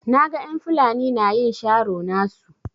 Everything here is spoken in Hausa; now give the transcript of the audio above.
Na gan en Fulani na yin sharo nasu.